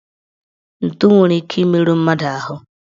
Ntụ nwere ike imeru mmadụ ahụ